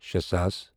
شے ساس